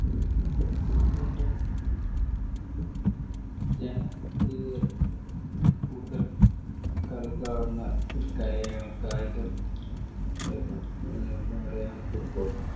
ഏറ്റവും ജനപ്രിയ കൂടുതല്‍ കളിക്കാവുന്ന ഒരു കലയാണ് കായികം കലയാണ് football